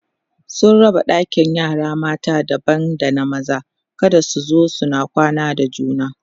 sun raba ɗakin yara mata daban da na maza kada su zo suna kwana da juna